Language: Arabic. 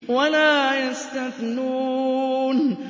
وَلَا يَسْتَثْنُونَ